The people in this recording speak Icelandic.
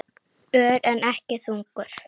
Ör, en ekki þungur.